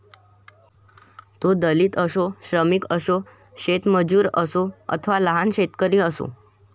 तो दलित असो श्रमिक असो शेतमजूर असो अथवा लहान शेतकरी असो